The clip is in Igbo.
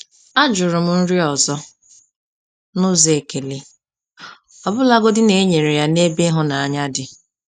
A jụrụ m nri ọzọ n’ụzọ ekele, ọbụlagodi na e nyere ya n’ebe ịhụnanya dị.